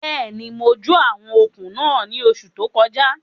Bẹ́ẹ̀ni, mo jó àwọn okùn náà ní oṣù tó kọjá